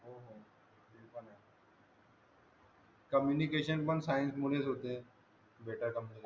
communication पण science मध्ये च होते